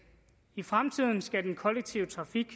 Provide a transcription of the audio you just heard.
i fremtiden skal den kollektive